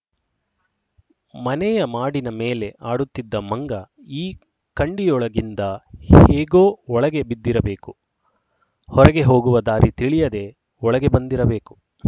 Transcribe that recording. ಮನೆಯ ಮಾಡಿನ ಮೇಲೆ ಆಡುತ್ತಿದ್ದ ಮಂಗ ಈ ಕಂಡಿಯೊಳಗಿಂದ ಹೇಗೋ ಒಳಗೆ ಬಿದ್ದಿರಬೇಕು ಹೊರಗೆ ಹೋಗುವ ದಾರಿ ತಿಳಿಯದೇ ಒಳಗೆ ಬಂದಿರಬೇಕು